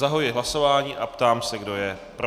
Zahajuji hlasování a ptám se, kdo je pro.